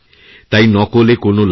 তাই নকলে কোনও লাভ নেই